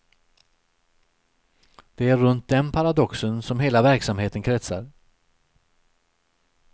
Det är runt den paradoxen som hela verksamheten kretsar.